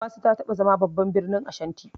Kumasi ta taɓa zama babban birnin Ashanti.